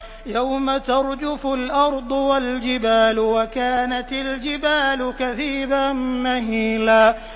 يَوْمَ تَرْجُفُ الْأَرْضُ وَالْجِبَالُ وَكَانَتِ الْجِبَالُ كَثِيبًا مَّهِيلًا